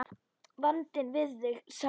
Vandinn við þig, sagði